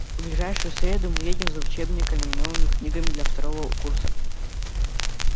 в ближайшую среду мы едем за учебниками и новыми книгами для второго курса